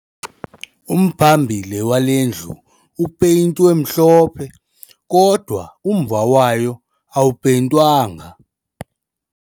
Umphambili wale ndlu upeyintwe mhlophe kodwa umva wayo awupeyintwanga